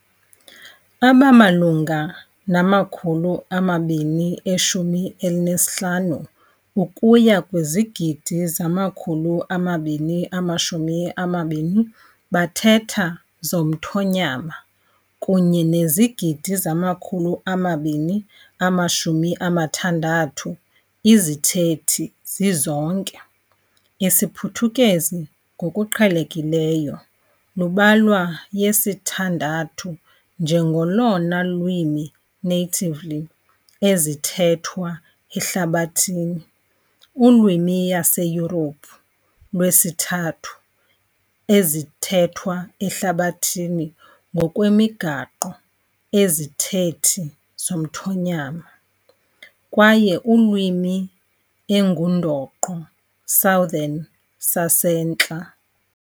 Abamalunga nama-215 ukuya kwizigidi 220 bathetha zomthonyama kunye nezigidi 260 izithethi zizonke, isiPhuthukezi ngokuqhelekileyo lubalwa yesithandathu njengolona lwimi natively ezithethwa ehlabathini, ulwimi yaseYurophu lwesithathu-ezithethwa ehlabathini ngokwemigaqo ezithethi zomthonyama, kwaye ulwimi engundoqo Southern saseNtla.